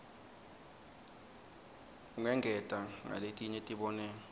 ungengeta ngaletinye tibonelo